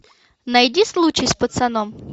найди случай с пацаном